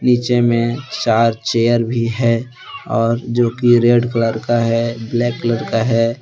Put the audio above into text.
नीचे मे चार चेयर भी है और जो की रेड कलर का है ब्लैक कलर का है।